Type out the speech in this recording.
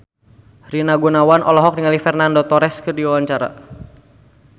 Rina Gunawan olohok ningali Fernando Torres keur diwawancara